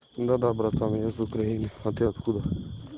да да братан я с украины а ты откуда